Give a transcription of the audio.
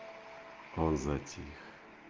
он затих